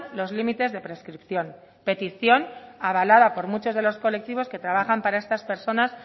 los límites de prescripción petición avalada por muchos de los colectivos que trabajan para estas personas